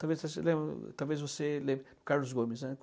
Talvez você lembre, talvez você lembre... Carlos Gomes, né?